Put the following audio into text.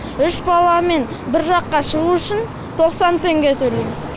үш баламен бір жаққа шығу үшін тоқсан теңге төлейміз